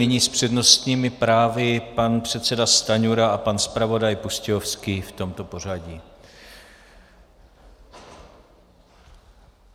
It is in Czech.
Nyní s přednostními právy pan předseda Stanjura a pan zpravodaj Pustějovský v tomto pořadí.